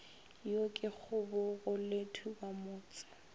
yo ke kgobogo le thubamotse